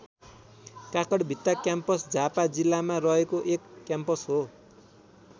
Kakarbhitta campus Jhapa जिल्लामा रहेको एक क्याम्पस हो।